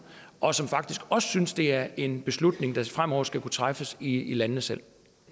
og som faktisk også synes det er en beslutning der fremover skal kunne træffes i landene selv